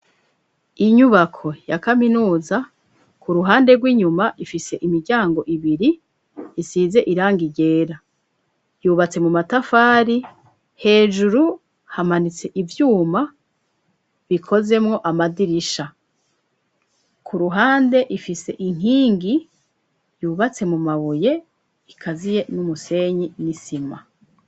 Inyubako, ya kaminuza, ku ruhande rw'inyuma, ifise imiryango ibiri, isize irangi ryera; yubatse mu matafari, hejuru, hamanitse ivyuma, bikozemwo amadirisha; ku ruhande, ifise inkingi, yubatse mu mabuye, ikaziye n'umusenyi n'isima.